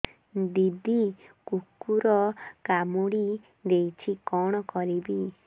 ଦିଦି କୁକୁର କାମୁଡି ଦେଇଛି କଣ କରିବି